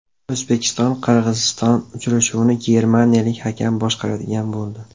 O‘zbekiston Qirg‘iziston uchrashuvini germaniyalik hakam boshqaradigan bo‘ldi.